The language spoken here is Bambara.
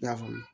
I y'a faamu